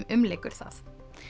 umlykur það